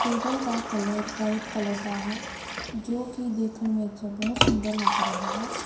Table ਦਾ colour white colour ਦਾ ਹੈ ਜੋ ਕਿ ਦੇਖਣ ਵਿੱਚ ਬਹੁਤ ਸੁੰਦਰ ਲੱਗ ਰਿਹਾ ਹੈ।